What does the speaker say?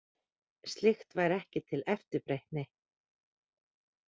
Slíkt væri ekki til eftirbreytni